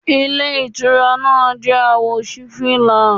Ilé Ìtura náà jẹ́ àwò sí fìlà